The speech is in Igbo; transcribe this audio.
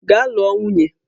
Gaa lụọ nwunye!